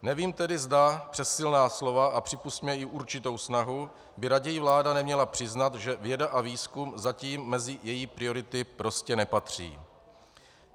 Nevím tedy, zda přes silná slova, a připusťme, i určitou snahu, by raději vláda neměla přiznat, že věda a výzkum zatím mezi její priority prostě nepatří.